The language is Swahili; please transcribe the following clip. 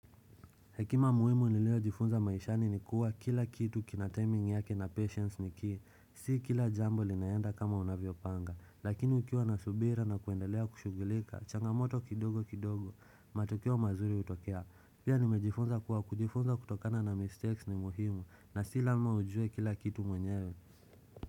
Hekima muhimu nileo jifunza maishani ni kuwa kila kitu kina timing yake na patience niki, si kila jambo linaenda kama unavyo panga, lakini ukiwa nasubira na kuendelea kushugilika, changamoto kidogo kidogo, matokeo mazuri hutokea, pia nimejifunza kuwa kujifunza kutokana na mistakes ni muhimu, na sila ma ujue kila kitu mwenyewe.